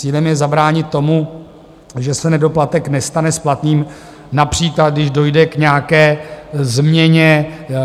Cílem je zabránit tomu, že se nedoplatek nestane splatným, například když dojde k nějaké změně.